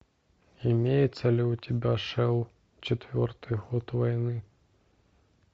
имеется ли у тебя шел четвертый год войны